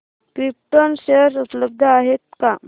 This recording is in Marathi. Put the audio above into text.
क्रिप्टॉन शेअर उपलब्ध आहेत का